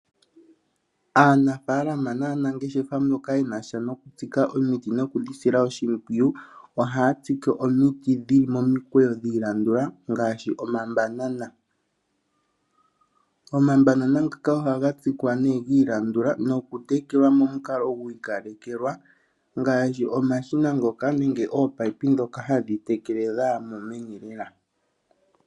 Aanafaalama naanangeshefa mboka yenasha nokutsika omiti noku dhi sila oshimpwiyu ,ohaya tsike omiti dhili momikweyo dhi ilandula ngaashi omambanana. Omambanana ngaka ohaga tsikwa nee ga ilandula noku tekelwa momukalo gwa ikalekelwa, ngaashi omashina ngoka nenge oominino ndhoka hadhi tekele dha yamo meni lela.